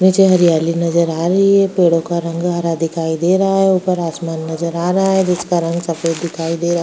नीचे हरियाली नजर आ रही है पेडॊं का रंग हरा दिखाई दे रहा है ऊपर आसमान नजर आ रहा है बीच का रंग सफ़ॆद दिखाई दे रहा है।